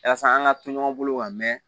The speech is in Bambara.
Yasa an ka to ɲɔgɔn bolo ka mɛɛn